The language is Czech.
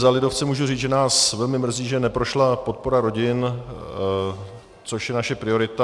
Za lidovce můžu říct, že nás velmi mrzí, že neprošla podpora rodin, což je naše priorita.